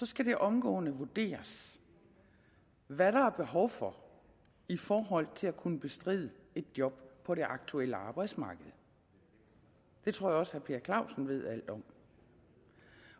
skal det omgående vurderes hvad der er behov for i forhold til at kunne bestride et job på det aktuelle arbejdsmarked det tror jeg også herre per clausen ved alt om